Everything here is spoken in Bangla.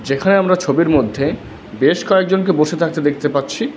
যেখানে আমরা ছবির মধ্যে বেশ কয়েকজনকে বসে থাকতে দেখতে পাচ্ছি।